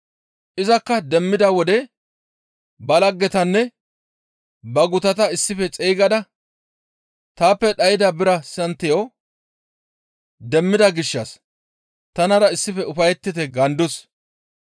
Izakka demmida wode ba laggetanne ba gutata issife xeygada, ‹Taappe dhayda bira santiyo demmida gishshas tanara issife ufayettite› gaandus.